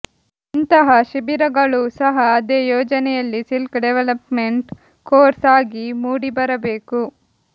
ಇಂತಹ ಶಿಬಿರಗಳೂ ಸಹ ಅದೇ ಯೋಜನೆಯಲ್ಲಿ ಸ್ಕಿಲ್ ಡೆವೆಲಪ್ಮೆಂಟ್ ಕೋರ್ಸ್ ಆಗಿ ಮೂಡಿಬರಬೇಕು